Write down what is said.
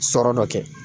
Sɔrɔ dɔ kɛ